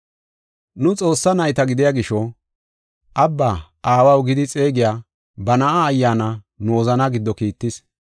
Nu Xoossaa nayta gidiya gisho, “Abbaa, Aawaw” gidi xeegiya ba Na7aa Ayyaana nu wozanaa giddo kiittis.